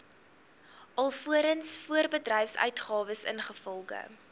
alvorens voorbedryfsuitgawes ingevolge